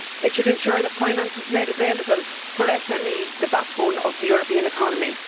It should ensure that finance is made available for SMEs, the backbone of the European economy.